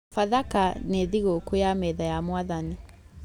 Bathaka nĩ thigũkũ ya metha ya Mwathani